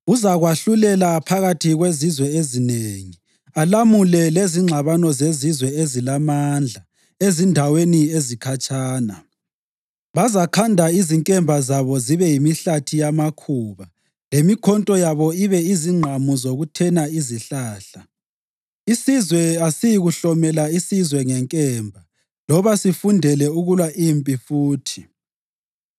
Uzakwahlulela phakathi kwezizwe ezinengi alamule lezingxabano zezizwe ezilamandla ezindaweni ezikhatshana. Bazakhanda izinkemba zabo zibe yimihlathi yamakhuba, lemikhonto yabo ibe zingqamu zokuthena izihlahla. Isizwe asiyikuhlomela isizwe ngenkemba loba sifundele ukulwa impi futhi.